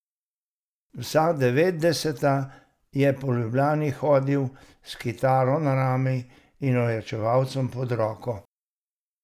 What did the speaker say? Vsa devetdeseta je po Ljubljani hodil s kitaro na rami in ojačevalcem pod roko.